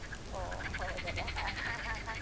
ಓ ಹೌದಲ್ಲ